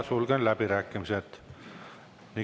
Sulgen läbirääkimised.